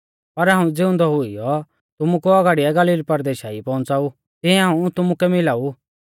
पर हाऊं ज़िउंदौ हुईऔ तुमु कु औगाड़िऐ गलील परदेशा ई पौउंच़ाऊ तिऐ हाऊं तुमुकै मिला ऊ